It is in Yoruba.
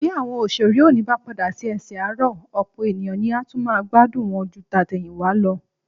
Bí àwọn òṣèré òní bá padà sí ẹsẹ̀ àárọ̀, ọ̀pọ̀ ènìyàn ni a tún máa gbádùn wọn ju tàtẹ̀yìnwá lọ